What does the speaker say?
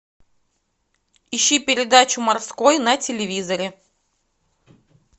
ищи передачу морской на телевизоре